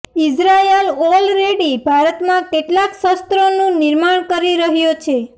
Israel already ભારતમાં કેટલાંક શસ્ત્રોનું નિર્માણ કરી રહ્યો છે